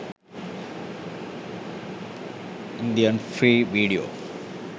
indian free video